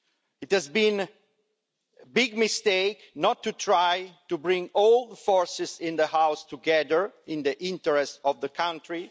It has been a big mistake not to try to bring all the forces in the House together in the interests of the country.